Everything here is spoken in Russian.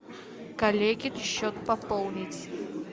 коллеге счет пополнить